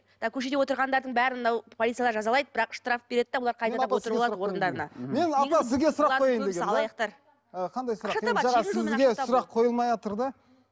ы көшедегі отырғандардың бәрін мынау полиция жазалайды бірақ штраф береді де бұлар қайтадан отырып алады орындарына сұрақ қойылмайатыр да